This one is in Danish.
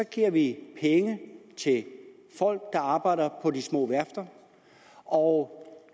giver vi penge til folk der arbejder på de små værfter og